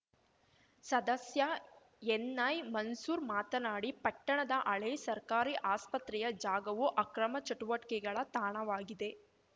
ಸದಸ್ಯ ಎನ್‌ಐಮನ್ಸೂರ್‌ ಮಾತನಾಡಿ ಪಟ್ಟಣದ ಹಳೇ ಸರ್ಕಾರಿ ಆಸ್ಪತ್ರೆಯ ಜಾಗವು ಅಕ್ರಮ ಚಟುವಟಿಕೆಗಳ ತಾಣವಾಗಿದೆ